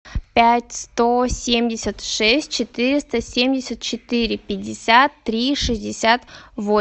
пять сто семьдесят шесть четыреста семьдесят четыре пятьдесят три шестьдесят